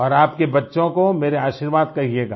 और आपके बच्चों को मेरा आशीर्वाद कहियेगा